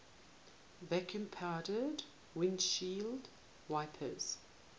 vacuum powered windshield wipers